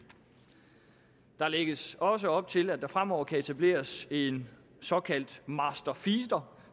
der læggers også op til at der fremover kan etableres en såkaldt master feeder